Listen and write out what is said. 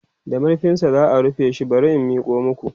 da marfinsa za'a rufe shi bari in Miko maku